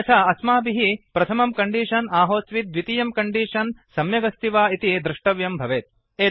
अन्यथा अस्माभिः प्रथमं कण्डीषन् आहोस्वित् द्वितीयं कण्डीषन् सम्यगस्ति वा इति द्रष्टव्यं भवेत्